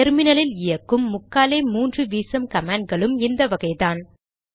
டெர்மினலில் இயக்கும் முக்காலே முன்று வீசம் கமாண்ட் களும் இந்த வகைதான்